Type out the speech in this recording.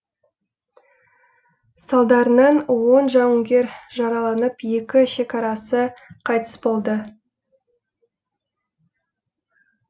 салдарынан он жауынгер жараланып екі шекарасы қайтыс болды